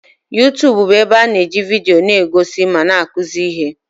Yuutubu bụ ebe a na-eji vidio na-egosi ma na-akụzi ihe.